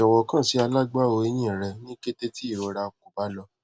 jọwọ kan si alagbawo ehin rẹ ni kete ti irora ko ba lọ